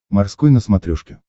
морской на смотрешке